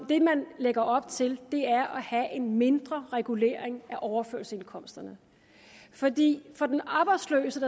det man lægger op til er at have en mindre regulering af overførselsindkomsterne fordi for den arbejdsløse